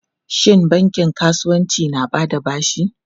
Shin bankin kasuwanci na ba da bashi?